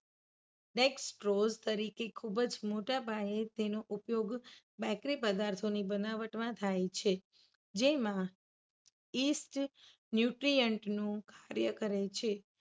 dextrose તરીકે ખુબ જ મોટા પાયે તેનો ઉપયોગ બેકરી પદાર્થોની બનાવટમાં થાય છે. જેમાં યીસ્ટ nutrient નું કાર્ય કરે છે.